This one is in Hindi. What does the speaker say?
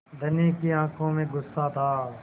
धनी की आँखों में गुस्सा था